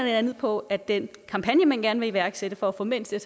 andet på at den kampagne man gerne vil iværksætte for at få mænd til at